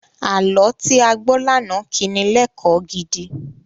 Àlọ́ tí a gbọ́ lánàá kí ni lẹ́kọ̀ọ́ gidi.